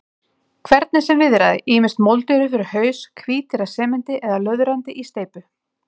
Hvernig sem viðraði, ýmist moldugir upp fyrir haus, hvítir af sementi eða löðrandi í steypu.